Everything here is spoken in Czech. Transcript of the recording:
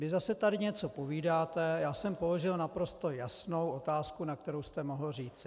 Vy zase tady něco povídáte, já jsem položil naprosto jasnou otázku, na kterou jste mohl říci.